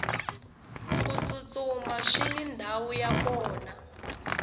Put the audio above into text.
ku tsutsuma swini ndhawu ya kona